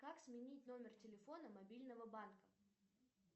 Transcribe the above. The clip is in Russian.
как сменить номер телефона мобильного банка